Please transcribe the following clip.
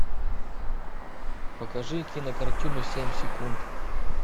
покажи кинокартину семь секунд